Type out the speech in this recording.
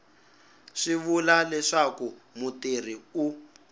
swi vula leswaku mutirhi u